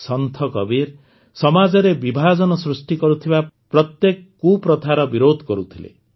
ସନ୍ଥ କବୀର ସମାଜରେ ବିଭାଜନ ସୃଷ୍ଟି କରୁଥିବା ପ୍ରତ୍ୟେକ କୁପ୍ରଥାର ବିରୋଧ କରୁଥିଲେ